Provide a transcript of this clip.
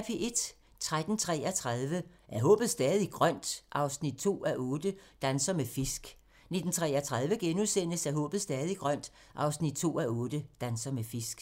13:33: Er håbet stadig grønt? 2:8 – Danser med fisk 19:33: Er håbet stadig grønt? 2:8 – Danser med fisk *